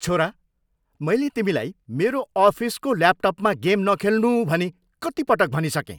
छोरा, मैले तिमीलाई मेरो अफिसको ल्यापटपमा गेम न खेल्नु भनी कति पटक भनिसकेँ?